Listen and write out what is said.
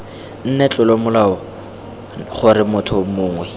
nne tlolomolao gore motho mongwe